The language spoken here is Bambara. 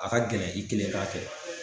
A ka gɛlɛn i kelen k'a kɛ